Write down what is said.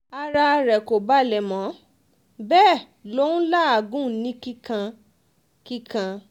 ara rẹ̀ kò balẹ̀ mọ́ bẹ́ẹ̀ ló um ń làágùn kíkan-kíkan